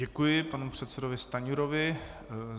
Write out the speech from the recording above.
Děkuji panu předsedovi Stanjurovi.